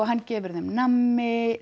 hann gefur þeim nammi